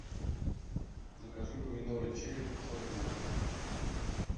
закажи помидоры черри пятьсот грамм